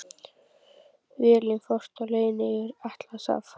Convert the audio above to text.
Vélin fórst á leiðinni yfir Atlantshaf.